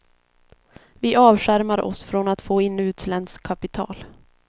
Vi avskärmar oss från att få in utländskt kapital.